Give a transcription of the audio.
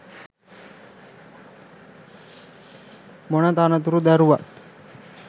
මොන තනතුර දැරුවත්